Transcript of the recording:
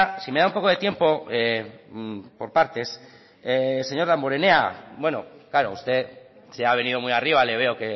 si me da un poco de tiempo por partes señor damborenea bueno claro usted se ha venido muy arriba le veo